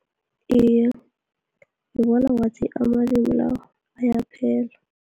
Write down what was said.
Iye ngibona ngathi amalimi lawa, ayaphela.